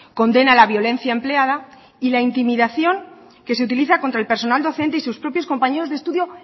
condena la violencia empleada y la intimidación que se utiliza contra el personal docente y sus propios compañeros de estudio